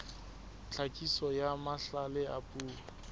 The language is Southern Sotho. tlhakiso ya mahlale a puo